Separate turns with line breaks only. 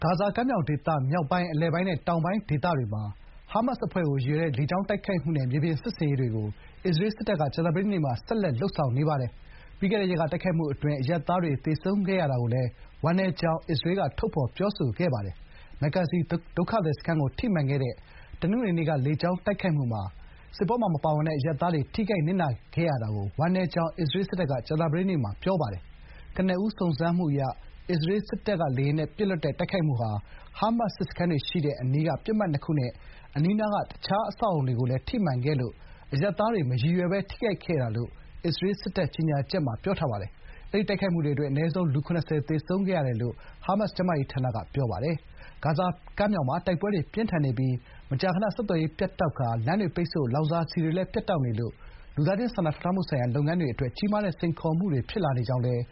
ါဇာကမ်းမြောင်ဒေသ မြောက်ပိုင်း၊ အလယ်ပိုင်းနဲ့ တောင်ပိုင်းဒေသတွေမှာ ဟားမတ်စ်အဖွဲ့ကို ရည်ရွယ်တဲ့ လေကြောင်းတိုက်ခိုက်မှုနဲ့ မြေပြင်စစ်ဆင်ရေးတွေကို အစ္စရေးစစ်တပ်က ကြာသပတေးနေ့မှာလည်း ဆက်လက် လုပ်ဆောင်နေပါတယ်။ ပြီးခဲ့တဲ့ရက်က တိုက်ခိုက်မှုအတွင်း အရပ်သားတွေသေဆုံးခဲ့ရတာကိုလည်း ဝမ်းနည်းကြောင်း အစ္စရေးက ထုတ်ဖော်ပြောဆိုခဲ့ပါတယ်။ မက်ဂါဇီဒုက္ခသည်စခန်းကို ထိမှန်ခဲ့တဲ့ တနင်္ဂနွေနေ့က လေကြောင်းတိုက်ခိုက်မှုမှာ စစ်ပွဲမှာ ပါဝင်ပတ်သက်မှုမရှိတဲ့ အရပ်သားတွေ ထိခိုက်နစ်နာခဲ့ရတာကို ဝမ်းနည်းကြောင်း အစ္စရေးစစ်တပ်က ကြာသပတေးနေ့မှာ ပြောပါတယ်။ ကနဦးစုံစမ်းမှုအရ အစ္စရေးစစ်လေယာဉ်တွေက “ဟားမတ်စ် စစ်စခန်းတွေရှိတဲ့အနီးက ပစ်မှတ်နှစ်ခု” နဲ့ အနီးနားက အခြားအဆောက်အအုံတွေကိုလည်း ထိမှန်ခဲ့လို့ “အရပ်သားတွေ မရည်ရွယ်ဘဲ ထိခိုက်ခဲ့တာ” လို့ အစ္စရေးစစ်တပ်ရဲ့ကြေညာချက်မှာ ပြောပါတယ်။ အဲဒီတိုက်ခိုက်မှုအတွင်း အနည်းဆုံး လူ ၇၀ သေဆုံးခဲ့တယ်လို့ ဟားမတ်စ် ကျန်းမာရေးဝန်ကြီးဌာနက ပြောပါတယ်။ တခါ ဂါဇာတောင်ပိုင်း Khan Younis ဘက်မှာလည်း တိုက်ပွဲတွေ ပြင်းထန်နေပါတယ်။ ဂါဇာကမ်းမြောင်မှာ တိုက်ပွဲတွေပြင်းထန်နေပြီး မကြာခဏ ဆက်သွယ်ရေး ပြတ်တောက်ကာ လမ်းတွေပိတ်ဆို့၊ လောင်စာဆီတွေလည်း ပြတ်တောက်နေလို့ လူသားချင်းစာနာထောက်ထားမှုဆိုင်ရာ လုပ်ငန်းတွေအတွက် ကြီးမားတဲ့စိန်ခေါ်မှုတွ
ေဖြစ်လာနေကြောင်းလည်း